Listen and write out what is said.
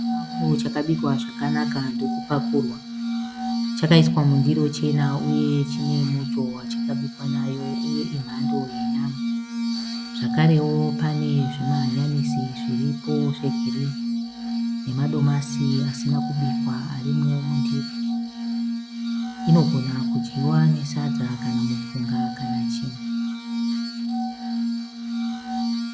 Chikafu chakabikwa zvakanaka ndokupakurwa. Chakaiswa mundiro chena uye chine muto wachakabikwa nayo uye imhando yenyama, zvakarewo pane zvima hanyanisi zviripo zvegirini nemadomasi asina kubikwa arimo mundiro, inogona kudyiwa nesadza kana mupunga kana chimwe.